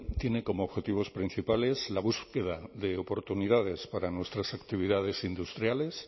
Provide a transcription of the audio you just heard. tiene como objetivos principales la búsqueda de oportunidades para nuestras actividades industriales